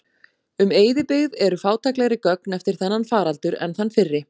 Um eyðibyggð eru fátæklegri gögn eftir þennan faraldur en þann fyrri.